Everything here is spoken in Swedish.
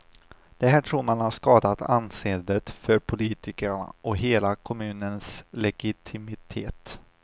Det här tror man har skadat anseendet för politikerna och hela kommunens legitimitet.